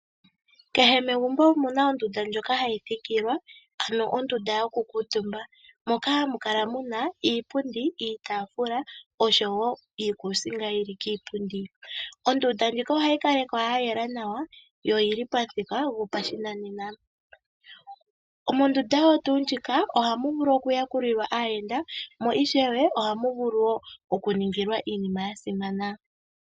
Kehe megumbo omuna ondunda ndjoka hayi thikilwa ano ondunda yoku kuutumba moka hamu kala muna iipundi, iitafula oshowo iikusinga yili kiipundi. Ondunda ndjika ohayi kalekwa ya yela nawa yo pyili pamuthika gopashinanena . Mondunda omo tuu muka ohamu vulu oku yakulilwa aayenda mo ishewe ohamu vulu oku ningilwa iinima yasimana.